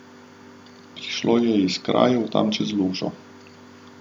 Prišlo je iz krajev tam čez lužo.